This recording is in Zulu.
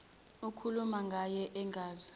ukhuluma ngaye engazi